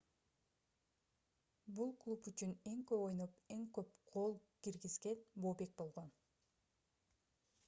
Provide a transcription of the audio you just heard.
бул клуб үчүн эң көп ойноп эң көп гол киргизген бобек болгон